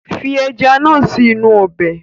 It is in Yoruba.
Fi ẹja náà sì inú ọbẹ̀!